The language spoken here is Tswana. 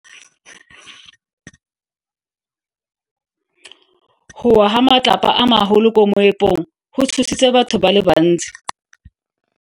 Go wa ga matlapa a magolo ko moepong go tshositse batho ba le bantsi.